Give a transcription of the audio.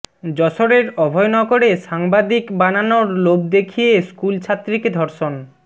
যশোরের অভয়নগরে সাংবাদিক বানানোর লোভ দেখিয়ে স্কুল ছাত্রীকে ধর্ষণ